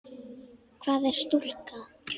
Hvað er stúka?